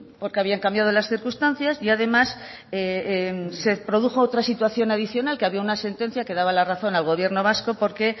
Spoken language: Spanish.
porque habían cambiado las circunstancias y además se produjo otra situación adicional que había una sentencia que daba la razón al gobierno vasco porque